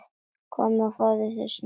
Komdu og fáðu þér snarl.